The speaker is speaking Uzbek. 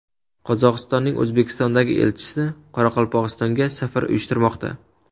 Qozog‘istonning O‘zbekistondagi elchisi Qoraqalpog‘istonga safar uyushtirmoqda.